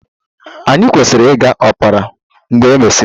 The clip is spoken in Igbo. Anyị kwesịrị ịga opera mgbe e mesịrị?